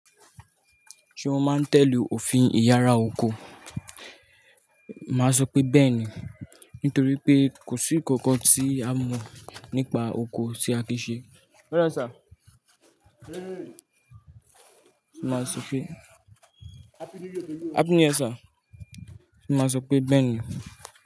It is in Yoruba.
Ṣé mo máa ń tẹ̀lé òfin ìyára oko? Màá sọ pé bẹ́ẹ̀ ni. Nítorí pé kò sí ǹkan kan tí a mọ̀ nípa ọkọ tí a kìí ṣe. Mọ́ dà sir máa sọ pé. Happy new year sir. Mo máa sọ pé bẹ́ẹ̀ ni.